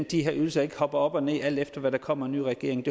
de her ydelser ikke hopper op og ned alt efter hvad der kommer af ny regering